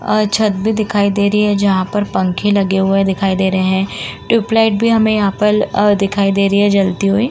और छत पर दिखाई दे रहे हैं जहां पर पंख लगे हुए दिखाई दे रहे हैं। ट्यूब लाइट भी हमें यहाँ पर अ दिखाई दे रही है जलती हुई।